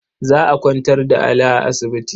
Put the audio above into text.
Za a kwantar da Ali a asibiti.